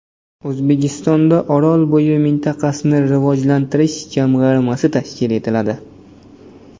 O‘zbekistonda Orolbo‘yi mintaqasini rivojlantirish jamg‘armasi tashkil etiladi.